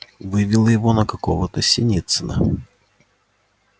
вывело его на какого-то синицына